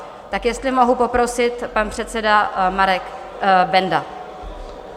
Tak jestli mohu poprosit, pan předseda Marek Benda.